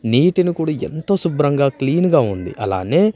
నీటిని కూడా ఎంతో శుభ్రంగా క్లీన్ గా ఉంది అలానే--